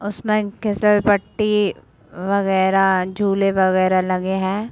उसमें घीसलपट्टी वगेरा झूले-वगेरा लगे है।